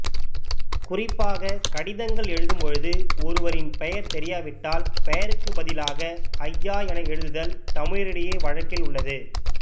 குறிப்பாக கடிதங்கள் எழுதும் பொழுது ஒருவரின் பெயர் தெரியாவிட்டால் பெயருக்கு பதிலாக ஐயா என எழுதுதல் தமிழரிடையே வழக்கில் உள்ளது